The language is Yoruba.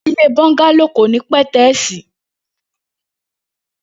Ilé bọngàló ó kin ni pẹtẹẹsi